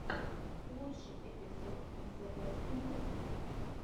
лучший эпизод зэбэстньюс